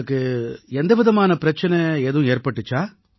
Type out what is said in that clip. உங்களுக்கு எந்த விதமான பிரச்சனை ஏதும் ஏற்பட்டிச்சா